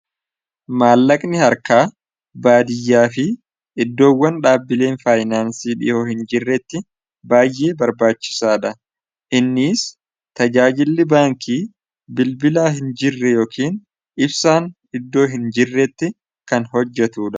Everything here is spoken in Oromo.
maallaqni harkaa baadiyyaa fi iddoowwan dhaabbileen faayinaansii dhihoo hin jirretti baayyee barbaachisaa dha innis tajaajilli baankii bilbilaa hin jirre yookiin ibsaan iddoo hin jirretti kan hojjatu a